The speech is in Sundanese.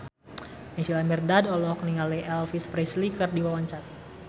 Naysila Mirdad olohok ningali Elvis Presley keur diwawancara